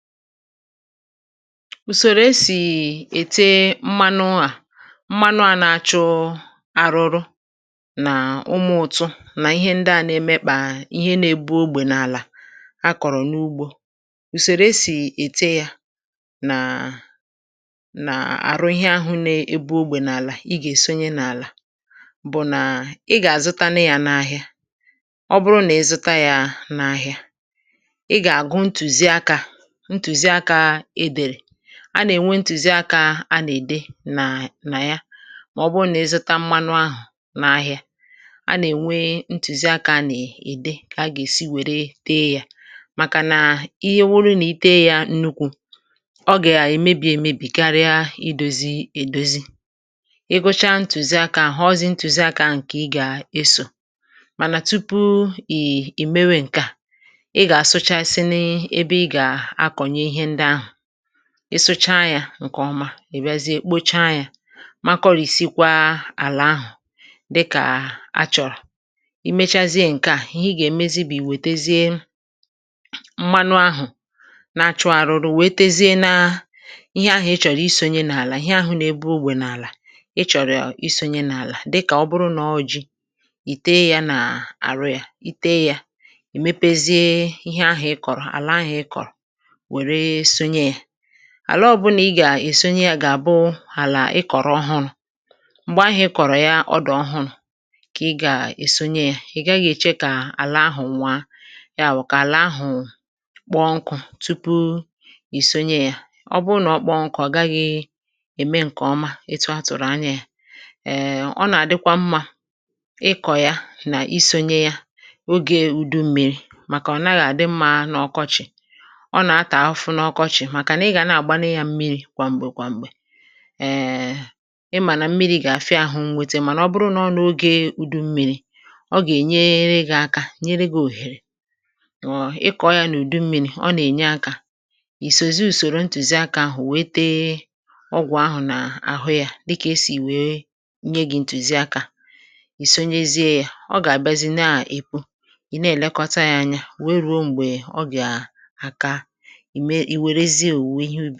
ùsòrò e sì ète mmanụ a mmanụ a nà-achọ arụrụ nà ụmụ̀ ụ̀tụ nà ihe ndị a nà-emekpà ihe nȧ-ėbù ogbè n’àlà a kọ̀rọ̀ n’ugbȯ ùsòrò e sì ète ya nà nà-àrụ ihe ahụ̇ nė-ėbù ogbè n’àlà i gà-èsonye n’àlà bụ̀ nà i gà-àzụtanụ ya n’ahìa ọ bụrụ nà ẹzụta ya n’ahịa, ị ga-àgụ ntuziaka a nà-ènwe ntùziakȧ a nà-ède nà na ya màọbụ nà ị zụta mmanụ ahụ̀ n’ahị̀a a nà-ènwe ntùzi akȧ a nà-ède kà a gà-èsi wèrè teė yȧ màkà nà ihe wụrụ nà i tee yȧ nnukwu̇ ọ gà-èmebì èmebì karịa idȯzi èdozi egȯcha ntùzi akȧ àhụ ọzị̇ ntùzi akȧ ǹkè ị gà-esò mànà tupu ì è mewe ǹke à ị sụcha yȧ ǹkè ọma è riazie kpocha yȧ makọrị̀sịkwa àlà ahụ̀ dịkà achọ̀rọ̀ i mechazie ǹke a ihe ị gà-èmezi bì wètezie mmanụ ahụ̀ na-achụ arụrụ wètezie na ihe ahụ̀ ị chọ̀rọ̀ isonye n’àlà ihe ahụ̀ nà ebe ogwè n’àlà ị chọ̀rọ̀ isonye n’àlà dịkà ọ bụrụ nà ọọjị̇ ìte yȧ nà àrụ yȧ ìte yȧ è mepezie ihe ahụ̀ ị kọ̀rọ̀ àla ahụ̀ ị kọ̀rọ̀ àla ọ bụlà ị gà-èsonye ya gà-àbụ àlà ị kọ̀rọ̀ ọhụrụ̇ m̀gbè ahụ̀ ị kọ̀rọ̀ ya ọdụ̀ ọhụrụ̇ kà ị gà-èsonye ya ị̀ gaghị̇ èche kà àla ahụ̀ nwaa ya àwụ kà àla ahụ̀ kpọ nkụ̇ tupu ìsonye ya ọ bụ nà ọ kpọ nkọ̀ ọ gaghị̇ ème ǹkè ọma ịtụ ọ tụ̀rụ̀ anya ya ee ọ nà-àdịkwa mmȧ ịkọ̇ ya nà isȯnye ya oge ùdu m̀mèrì màkà ọ̀naghị̇ àdị mmȧ n’ọkọchị̀ kwàm̀gbè kwàm̀gbè ịmà nà mmiri̇ gà-àfịa àhụ m̀nwètè mànà ọ bụrụ nà ọ nụ ogė udu mmi̇ri̇ ọ gà-ènye gị̇ aka nyere gị̇ òhèrè ọọ̀ ịkọ̀ ya n’ùdu mmi̇ri̇ ọ nà-ènye akȧ ìsòzi ùsòrò ntùzi akȧ àhụ wėė tee ọgwụ̀ ahụ̀ nà àhụ yȧ dịkà esì wèe nye gị̇ ntùzi akȧ ìsònyezie yȧ ọ gà-àbizi na-èpụ ị̀ na-èlekọta ya anya wèe rùo m̀gbè ọ gà-àka o werezie owuwe ihe ubi